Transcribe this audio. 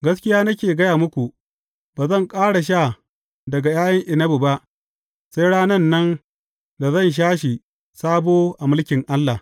Gaskiya nake gaya muku, Ba zan ƙara sha daga ’ya’yan inabi ba, sai ranan nan, da zan sha shi sabo a mulkin Allah.’